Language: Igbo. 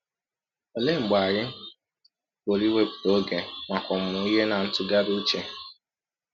Ọlee mgbe anyị pụrụ iwepụta ọge maka ọmụmụ ihe na ntụgharị ụche? um